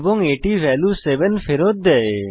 এবং এটি ভ্যালু 7 ফেরত করে